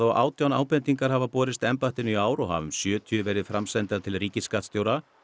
og átján ábendingar hafa borist embættinu í ár og hafa um sjötíu verið framsendar til ríkisskattstjóra